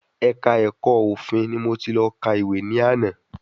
Ẹ̀ka ẹ̀kọ́ òfin ni mo ti lọ ka ìwé ní àná